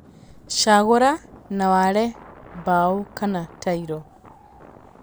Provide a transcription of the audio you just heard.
Cagũra na ware mbaũ kana tairo.